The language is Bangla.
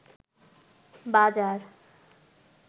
বাজার